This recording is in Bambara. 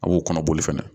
A b'o kɔnɔboli fɛnɛ